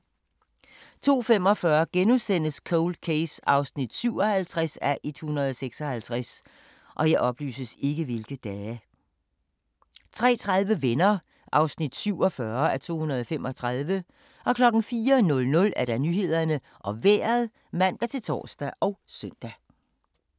02:45: Cold Case (57:156)* 03:30: Venner (47:235) 04:00: Nyhederne og Vejret (man-tor og søn)